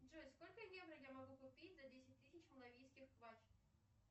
джой сколько евро я могу купить за десять тысяч малавийских квач